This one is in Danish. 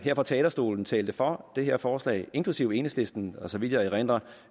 fra talerstolen talte for det her forslag inklusive enhedslisten og så vidt jeg erindrer